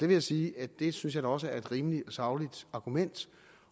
vil sige at det synes jeg da også er et rimelig sagligt argument